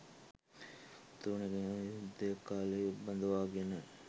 උතුරු නැගෙනහිර යුද්ධය කාලේ බඳවාගෙන